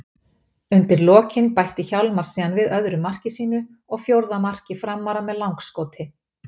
Undir lokin bætti Hjálmar síðan við öðru marki sínu og fjórða marki Framara með langskoti.